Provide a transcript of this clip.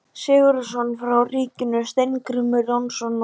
Sigurðsson frá ríkinu, Steingrímur Jónsson og